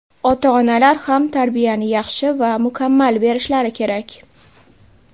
Ota-onalar ham tarbiyani yaxshi va mukammal berishlari kerak.